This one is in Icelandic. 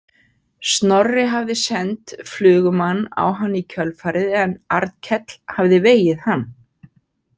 Snorri hafði sent flugumann á hann í kjölfarið en Arnkell hafði vegið hann.